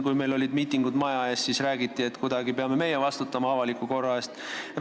Kui meil olid miitingud siin maja ees, siis räägiti, et meie peame kuidagi avaliku korra eest vastutama.